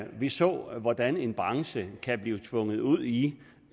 vi så hvordan en branche kan blive tvunget ud i